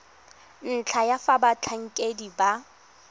ntlha ya fa batlhankedi ba